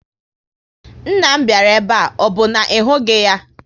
Nna m bịara ebe a, ọ bụ na ị hụghị ya?